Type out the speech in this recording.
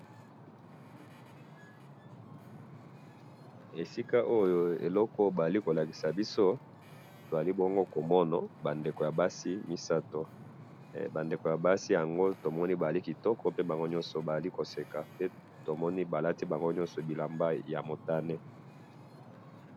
esika oyo eloko bazali kolakisa biso, tozali bongo komona ba ndeko ya basi misatu, ba ndeko ya basi yango, tomoni bazali kitoko, pe bango nyoso bazali koseka, pe tomoni balati bango nyoso bilamba ya motane